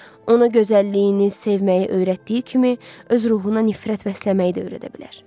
Ona gözəlliyini sevməyi öyrətdiyi kimi, öz ruhuna nifrət vəsləməyi də öyrədə bilər.